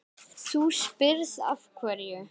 Þú spyrð af hverju.